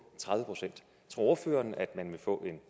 tredive procent tror ordføreren at man vil få en